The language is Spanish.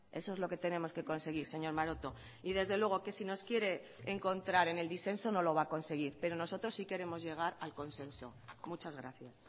eso es lo que tenemos que conseguir señor maroto y desde luego que si nos quiere encontrar en el disenso no lo va a conseguir pero nosotros sí queremos llegar al consenso muchas gracias